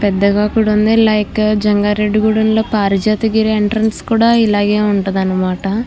పెద్దగా కూడా ఉంది లైక్ జంగారెడ్డిగూడెంలో పారిజాత గుడి ఎంట్రన్స్ కూడా ఇలాగే ఉంటది అనమాట.